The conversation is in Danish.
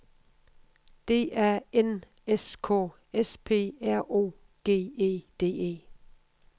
D A N S K S P R O G E D E